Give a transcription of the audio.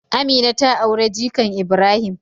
Amina ta aure jikan Ibrahim.